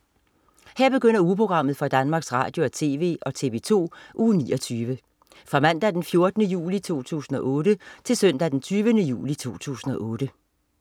Her begynder ugeprogrammet for Danmarks Radio- og TV og TV2 Uge 29 Fra Mandag den 14. juli 2008 Til Søndag den 20. juli 2008